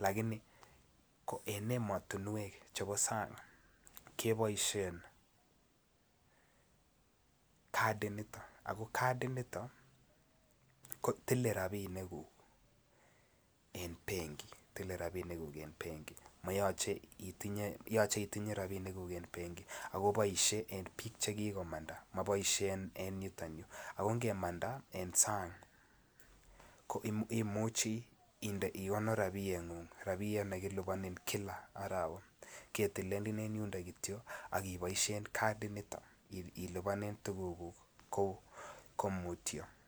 lakini en emotunwek chebo sang keboisien kadit nitok ako kadit nitok kotile rapinik kuk en benki akobosie en biik chekikomanda ako ndiiwe sang ikonoru rapinik chekiliponin kila arawa ketilenin en yundo akiboisien kadit nitok ilipanen tugukuk en mutyo.